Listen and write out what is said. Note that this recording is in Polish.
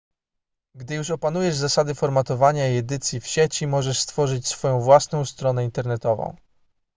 gdy już opanujesz zasady formatowania i edycji w sieci możesz stworzyć swoją własną stronę internetową